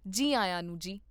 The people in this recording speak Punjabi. ਜੀ ਆਇਆਂ ਨੂੰ ਜੀ